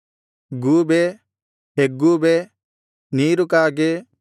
ಗೂಬೆ ಹೆಗ್ಗೂಬೆ ನೀರುಕಾಗೆ